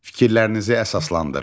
Fikirlərinizi əsaslandırın.